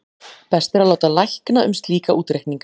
Best er að láta lækna um slíka útreikninga.